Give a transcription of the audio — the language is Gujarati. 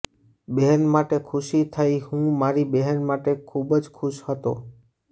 બહેન માટે ખુશી થઈ હું મારી બહેન માટે ખૂબ જ ખુશ હતો